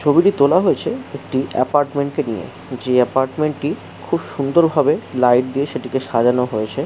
ছবিটি তোলা হয়েছে একটি অ্যাপার্টমেন্টে কে নিয়ে যে অ্যাপার্টমেন্ট টি খুব সুন্দরভাবে লাইট দিয়ে সেটিকে সাজানো হয়েছে।